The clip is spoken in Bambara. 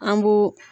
An b'u